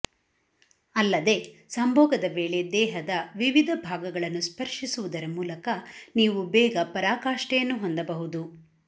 ಅಲ್ಲದೇ ಸಂಭೋಗದ ವೇಳೆ ದೇಹದ ವಿವಿಧ ಭಾಗಗಳನ್ನು ಸ್ಪರ್ಶಿಸುವುದರ ಮೂಲಕ ನೀವು ಬೇಗ ಪರಾಕಾಷ್ಠೆಯನ್ನು ಹೊಂದಬಹುದು